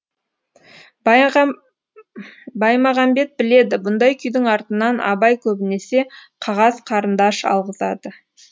баймағамбет біледі бұндай күйдің артынан абай көбінесе қағаз қарындаш алғызады